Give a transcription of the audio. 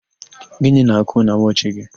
Gịnị n'àkụ́ na wọchị gị?